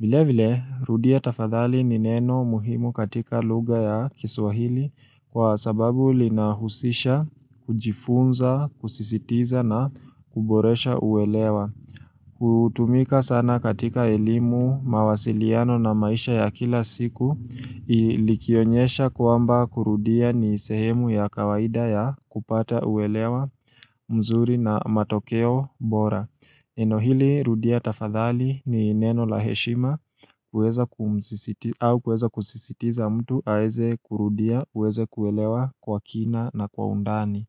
Vile vile, rudia tafadhali ni neno muhimu katika lugha ya kiswahili kwa sababu linahusisha, kujifunza, kusisitiza na kuboresha uelewa. Kutumika sana katika elimu, mawasiliano na maisha ya kila siku likionyesha kwamba kurudia ni sehemu ya kawaida ya kupata uelewa mzuri na matokeo bora neno hili rudia tafadhali ni neno la heshima au kuweza kusisitiza mtu aweze kurudia uweze kuelewa kwa kina na kwa undani.